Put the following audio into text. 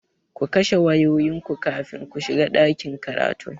Ku kashe wayoyinku kafin ku shiga ɗakin karatun!